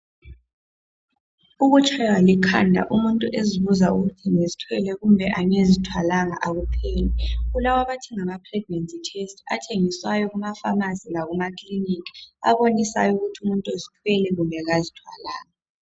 Ukutshaywa likhanda umuntu ezibuza ukuthi ngizithwele kumbe kangizithwalanga akuphele. Kulabathenga ama pregnancy test athengisayo kumafamasi lakumaklinika, abonisayo ukuthi umuntu uzithwele kumbe kazithwalanga.